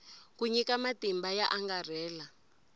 ku nyika matimba yo angarhela